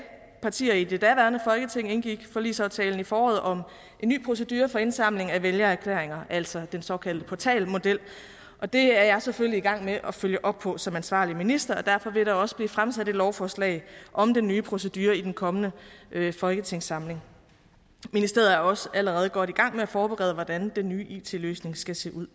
partier i det daværende folketing indgik forligsaftalen i foråret om en ny procedure for indsamlingen af vælgererklæringer altså den såkaldte portalmodel og det er jeg selvfølgelig i gang med at følge op på som ansvarlig minister derfor vil der også blive fremsat et lovforslag om den nye procedure i den kommende folketingssamling ministeriet er også allerede godt i gang med at forberede hvordan den nye it løsning skal se ud